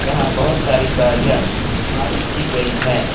यहां बहुत सारी गाड़ियां पार्क की गई है।